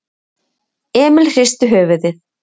Emil hristi höfuðið.